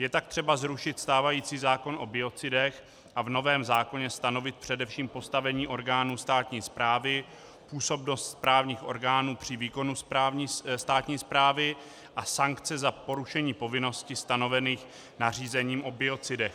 Je tak třeba zrušit stávající zákon o biocidech a v novém zákoně stanovit především postavení orgánů státní správy, působnost správních orgánů při výkonu státní správy a sankce za porušení povinností stanovených nařízením o biocidech.